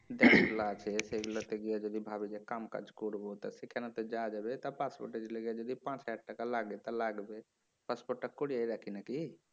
যেগুলো আছে সেগুলো সেগুলো যদি ভাবি যে কামকাজ করবো তা সেখানে তো যাওয়া যাবে তা পাসপোর্টের লিগে যদি পাঁচ হাজার টাকা লাগে তা লাগবে পাসপোর্টটা করিয়ে রাখি নাকি